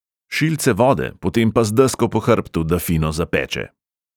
Šilce vode, potem pa z desko po hrbtu, da fino zapeče!